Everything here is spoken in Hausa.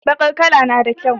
Bakar kala nada kyau